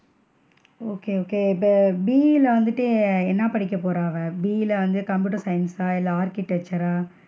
Okay okay இப்ப BE ல வந்துட்டு என்ன படிக்க போறா அவ? BE ல வந்து computer science சா இல்ல architecture ரா?